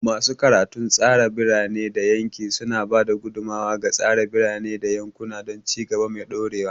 Masu karatun tsara birane da yanki suna ba da gudummawa ga tsara birane da yankuna don ci gaba mai dorewa.